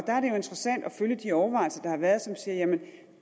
der er det jo interessant at følge de overvejelser der har været som siger at